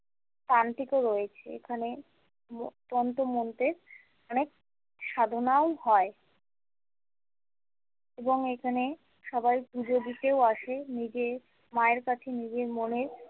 তান্ত্রিকও রয়েছে এখানে তন্ত্র মন্ত্রের অনেক সাধনাও হয় এবং এখানে সবাই পুজো দিতেও আসে নিজের মায়ের কাছে নিজের মনের।